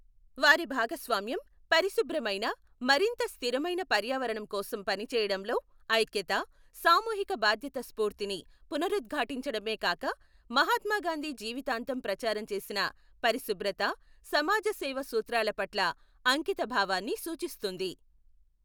వారి భాగస్వామ్యం పరిశుభ్రమైన, మరింత స్థిరమైన పర్యావరణం కోసం పని చేయడంలో ఐక్యత, సామూహిక బాధ్యత స్ఫూర్తిని పునరుద్ఘాటించడమే కాక మహాత్మ గాంధీ జీవితాంతం ప్రచారం చేసిన పరిశుభ్రత, సమాజ సేవ సూత్రాల పట్ల అంకితభావాన్ని సూచిస్తుంది.